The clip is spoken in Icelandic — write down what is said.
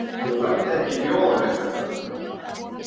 Ég læt ekki bjóða mér þetta.